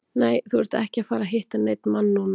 Nei, þú ert ekki að fara að hitta neinn mann núna.